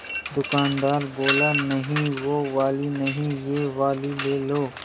दुकानदार बोला नहीं वो वाली नहीं ये वाली ले लो